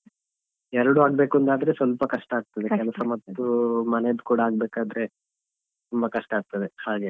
ಎರಡು ಆಗ್ಬೇಕು ಅಂತಾದ್ರೆ ಸ್ವಲ್ಪ ಕಷ್ಟ ಆಗ್ತದೆ ಕೆಲಸ ಮತ್ತು ಮನೆದ್ದು ಕೂಡ ಆಗ್ಬೇಕಾದ್ರೆ ತುಂಬ ಕಷ್ಟ ಆಗ್ತದೆ ಹಾಗೆ.